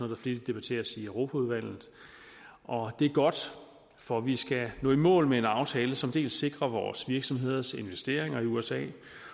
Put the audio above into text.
der flittigt debatteres i europaudvalget og det er godt for vi skal nå i mål med en aftale som dels sikrer vores virksomheders investeringer i usa